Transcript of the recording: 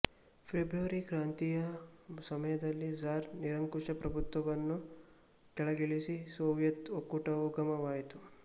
February ಕ್ರಾಂತಿಯ ಸಮಯದಲ್ಲಿ tsar ನಿರಂಕುಶಪ್ರಭುತ್ವವನ್ನು ಕೆಳಗಿಳಿಸಿ ಸೋವಿಯತ್ ಒಕ್ಕೂಟವು ಉಗಮವಾಯಿತು